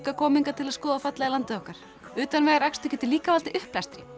koma til að skoða fallega landið okkur utanvegaakstur getur líka valdið uppblæstri